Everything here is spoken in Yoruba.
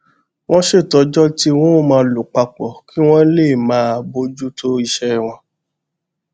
wón ṣètò ọjó tí wón á máa lò pa pò kí wón lè máa bójú tó iṣé wọn